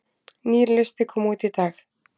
Nýr listi kom út í dag